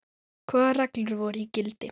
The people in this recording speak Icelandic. Hvaða reglur voru í gildi?